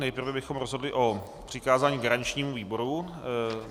Nejprve bychom rozhodli o přikázání garančnímu výboru.